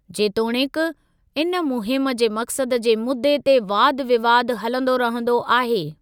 जेतोणीकि, इन मुहिम जे मकसद जे मुदे ते वाद विवादु हलंदो रहंदो आहे।